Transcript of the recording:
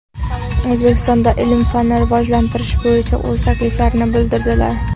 O‘zbekistonda ilm-fanni rivojlantirish bo‘yicha o‘z takliflarini bildirdilar.